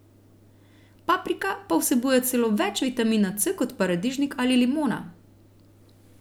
Paprika pa vsebuje celo več vitamina C kot paradižnik ali limona.